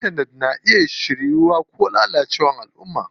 Intanet na iya haifar da shiryuwa ko lalacewar alʼumma.